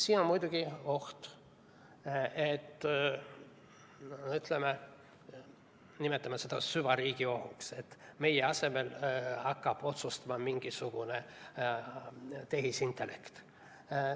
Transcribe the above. Siin on muidugi oht, nimetame seda süvariigi ohuks, et meie asemel hakkab otsustama mingisugune tehisintellekt.